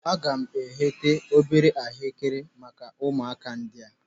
Aga m egheta obere ahuekere maka ụmụaka ndị a.